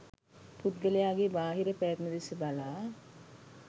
පුද්ගලයාගේ බාහිර පැවැත්ම දෙස බලා